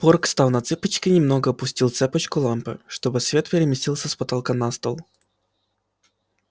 порк став на цыпочки немного отпустил цепочку лампы чтобы свет переместился с потолка на стол